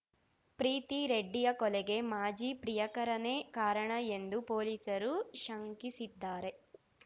ಪ್ರೀತಿ ರೆಡ್ಡಿಯ ಕೊಲೆಗೆ ಮಾಜಿ ಪ್ರಿಯಕರನೇ ಕಾರಣ ಎಂದು ಪೊಲೀಸರು ಶಂಕಿಸಿದ್ದಾರೆ